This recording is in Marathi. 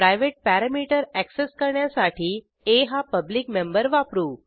प्रायव्हेट पॅरॅमीटर अॅक्सेस करण्यासाठी आ हा पब्लिक मेंबर वापरू